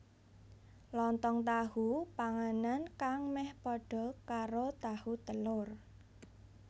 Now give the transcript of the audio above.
Lontong tahu Panganan kang meh padha karo tahu telur